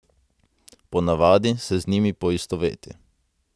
Po navadi se z njimi poistoveti.